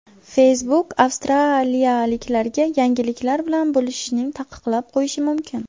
Facebook avstraliyaliklarga yangiliklar bilan bo‘lishishni taqiqlab qo‘yishi mumkin.